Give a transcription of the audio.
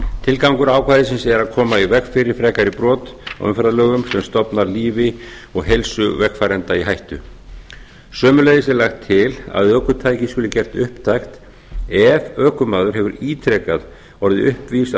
tilgangur ákvæðisins er að koma í veg fyrir frekari brot á umferðarlögum sem stofnar lífi og heilsu vegfarenda í hættu sömuleiðis er lagt til að ökutæki sé gert upptækt ef ökumaður hefur ítrekað orðið uppvís að